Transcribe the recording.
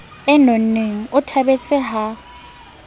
e nonneng o thabetse ha